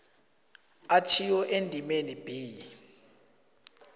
atjhiwo endimeni b